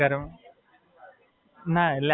ના, મેરેજ માં તો હમણાં એક ભી ગયો નહીં આજ સુધી.